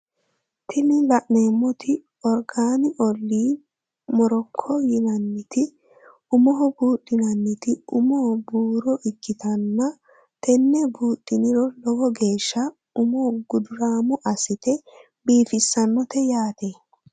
Tini la'neemotti Organ oil moroco yinanniti umoho buudhinanniti umu buuro ikkitanna tenne buudhiniro lowo geesha umo gudurammo assite biifissannote yaate.